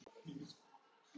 Þú stendur þig vel, Ríta!